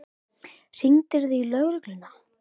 Hringdirðu í lögregluna?